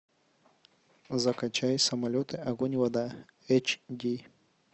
закачай самолеты огонь и вода эйч ди